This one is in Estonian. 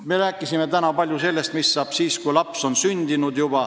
Me rääkisime täna palju sellest, mis saab siis, kui laps on juba sündinud.